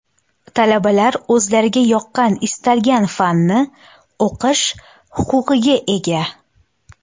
Talabalar o‘zlariga yoqqan istalgan fanni o‘qish huquqiga ega.